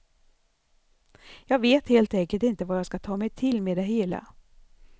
Jag vet helt enkelt inte vad jag ska ta mig till med det hela.